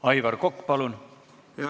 Aivar Kokk, palun!